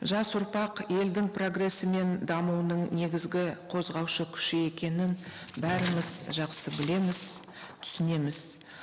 жас ұрпақ елдің прогрессі мен дамуының негізгі қозғаушы күші екенін бәріміз жақсы білеміз түсінеміз